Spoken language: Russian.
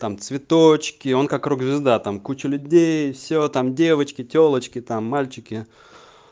там цветочки он как рок-звезда там куча людей все там девочки тёлочки там мальчики